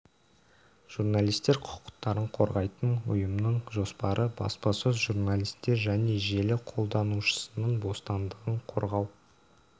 журналистер құқықтарын қорғайтын ұйымның жоспары баспасөз журналистер және желі қолданушысының бостандығын қорғау